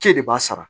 K'e de b'a sara